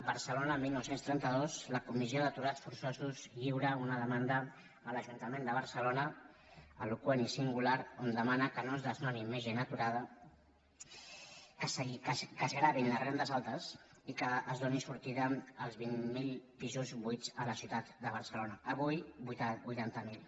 barcelona dinou trenta dos la comissió d’aturats for·çosos lliura una demanda a l’ajuntament de barcelo·na eloqüent i singular on demana que no es desnoni més gent aturada que es gravin les rendes altes i que es doni sortida als vint mil pisos buits a la ciutat de barcelona avui vuitanta mil